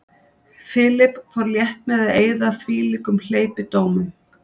Philip fór létt með að eyða þvílíkum hleypidómum.